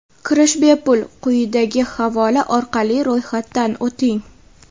Kirish bepul, quyidagi havola orqali ro‘yxatdan o‘ting:.